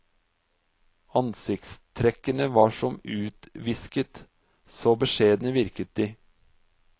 Ansiktstrekkene var som utvisket, så beskjedne virket de.